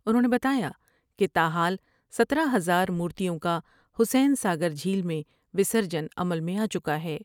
انھوں نے بتایا کہ تا حال ستارہ ہزار مورتیوں کا حسین ساگر جھیل میں وسرجن عمل میں آچکا ہے ۔